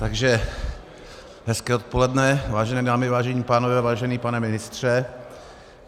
Takže hezké odpoledne, vážené dámy, vážení pánové, vážený pane ministře.